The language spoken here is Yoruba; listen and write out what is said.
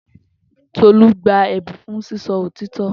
Tolú gba ẹ̀bùn fún sísọ òtítọ́